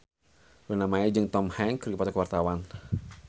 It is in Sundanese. Luna Maya jeung Tom Hanks keur dipoto ku wartawan